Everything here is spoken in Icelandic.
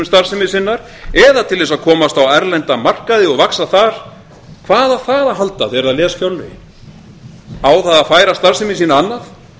starfsemi sinnar eða til þess að komast á erlenda markaði og vaxa þar hvað á það að halda þegar það les fjárlögin á það að færa starfsemi sína annað